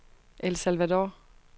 El Salvador